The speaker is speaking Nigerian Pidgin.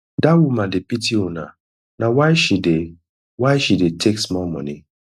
dat woman dey pity una na why she dey why she dey take small money